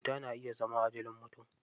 Cuta na iya zama ajalin mutum.